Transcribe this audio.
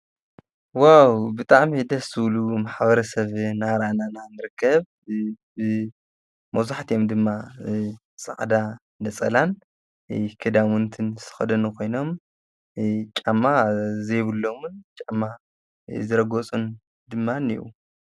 ዋዉ ብጣዕሚ ደስ ዝብሉ ማሕበረሰብ እናርኣና ኢና ንርከብ መብዛሕቲኦም ድማ ፃዕዳ ነፀላን ክዳዉንትን ዝተከደኑ ኮይኖም ጫማ ዘይብሎምን ጫማ ዝረገፁን ድማ እንሄዉ ።